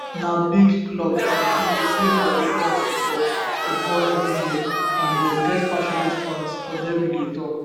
na big club and e dey play for european football football evri year and dem get passionate fans odemwingie tok